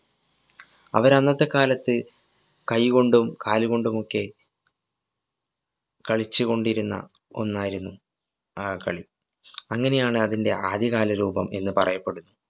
അവരന്നത്തെ കാലത്ത് കൈകൊണ്ടും കാലുകൊണ്ടും ഒക്കെ കളിച്ചുകൊണ്ടിരുന്ന ഒന്നായിരുന്നു ആ കളി. അങ്ങനെയാണതിന്റെ ആദ്യകാല രൂപം എന്ന് പറയപെടുന്നു.